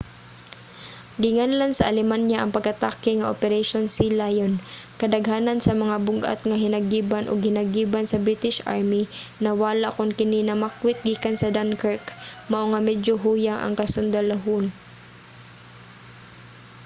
ginganlan sa alemanya ang pag-atake nga operation sealion". kadaghanan sa mga bug-at nga hinagiban ug hinagiban sa british army nawala kon kini namakwit gikan sa dunkirk mao nga medyo huyang ang kasundalohan